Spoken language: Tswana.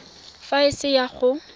fa a se na go